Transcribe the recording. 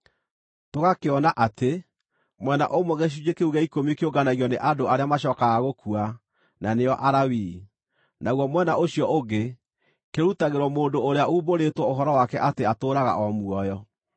Tũgakĩona atĩ, mwena ũmwe gĩcunjĩ kĩu gĩa ikũmi kĩũnganagio nĩ andũ arĩa macookaga gũkua, na nĩo Alawii; naguo mwena ũcio ũngĩ, kĩrutagĩrwo mũndũ ũrĩa uumbũrĩtwo ũhoro wake atĩ atũũraga o muoyo.